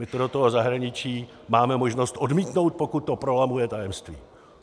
My to do toho zahraničí máme možnost odmítnout, pokud to prolamuje tajemství.